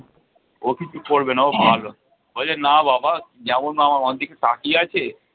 ও কিছু করবে না ও ভালো। বলছে না বাবা যেমনভাবে আমার দিকে তাকিয়ে আছে